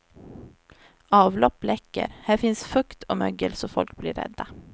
Avlopp läcker, här finns fukt och mögel så folk blir rädda.